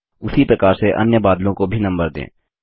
उसी प्रकार से अन्य बादलों को भी नम्बर दें